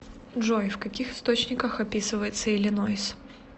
джой в каких источниках описывается иллинойс